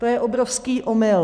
To je obrovský omyl.